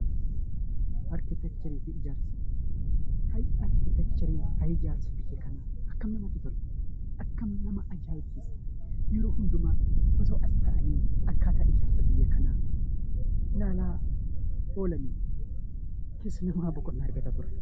Arkiteekcharii fi ijaarsa Ayi arkiteekcharii biyya kanaa! Ayi ijaarsa biyya kanaa! Akkamiin namatti tola! Akkamiin nama ajaa'ibsiisa! Yeroo hundumaa osoo as taa'anii akkataa biyya kanaa ilaalaa oolanii sanarra boqonnaa argata ture.